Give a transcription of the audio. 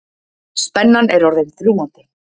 Spennan er orðin þrúgandi.